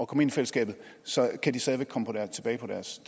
komme ind i fællesskabet så kan de stadig væk komme tilbage på deres